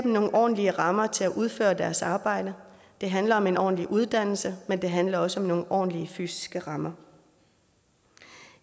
nogle ordentlige rammer til at udføre deres arbejde det handler om en ordentlig uddannelse men det handler også om nogle ordentlige fysiske rammer